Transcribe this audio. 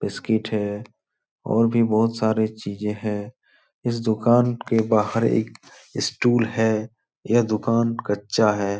Biscuit है और भी बहुत सारे चीजें हैं। इस दुकान के बाहर एक स्टूल है। यह दुकान कच्चा है।